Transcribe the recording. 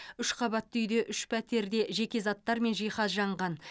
үш қабатты үйде ұш пәтерде жеке заттар мен жиһаз жанған